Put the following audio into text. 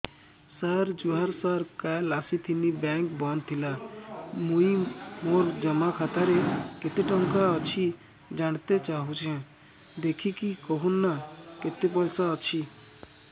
ସାର ଜୁହାର ସାର କାଲ ଆସିଥିନି ବେଙ୍କ ବନ୍ଦ ଥିଲା ମୁଇଁ ମୋର ଜମା ଖାତାରେ କେତେ ଟଙ୍କା ଅଛି ଜାଣତେ ଚାହୁଁଛେ ଦେଖିକି କହୁନ ନା କେତ ପଇସା ଅଛି